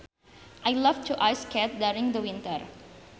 I loved to ice skate during the winter